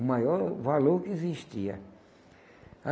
O maior valor que existia.